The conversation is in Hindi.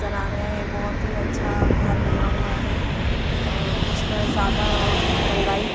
नजर आ रहे हैं बहुत ही अच्छा घर बना हुआ है अ उस पर ज्यादा रंगाई--